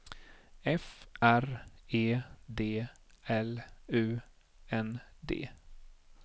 F R E D L U N D